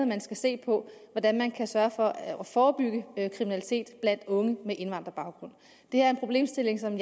man skal se på hvordan man kan sørge for at forebygge kriminalitet blandt unge med indvandrerbaggrund det er en problemstilling som